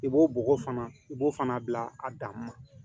I b'o bɔgɔ fana i b'o fana bila a dan ma